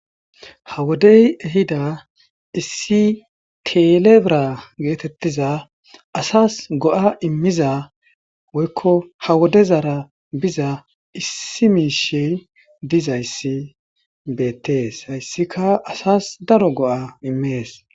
ha wodey ehida issi telebra geetettiza asas go7a immiza woykko ha wodezara biza issi miishe dizayssi beettees hayssika asas daro go7a immees